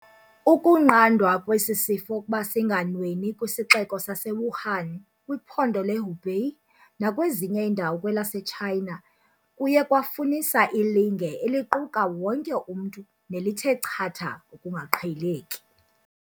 Ukunqandwa kwesi sifo ukuba singanweni kwiSixeko sase-Wuhan, kwiPhondo le-Hubei nakwezinye iindawo kwelase-China kuye kwafunisa ilinge eliquka wonke umntu nelithe chatha ukungaqheleki.